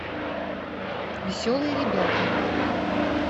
веселые ребята